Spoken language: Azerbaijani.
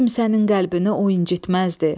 Kimsənin qəlbini o incitməzdi.